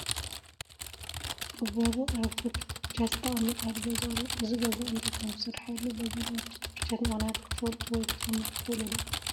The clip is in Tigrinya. ኣብ በሩ ኣረግቶት ፍርጃት ዝተቐመጣሉ ገዛ ኣሎ፡፡ እዚ ገዛ እንታይ ከምዝስርሐሉ በዘን ኣረግቶት ፍርጃት ምኽንያት ክትፈልጡ ወይ ክትግምቱ ትኽእሉ ዶ?